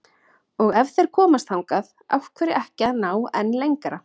Og ef þeir komast þangað, af hverju ekki að ná enn lengra?